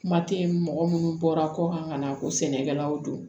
Kuma tɛ mɔgɔ minnu bɔra kɔkan ka na ko sɛnɛkɛlaw do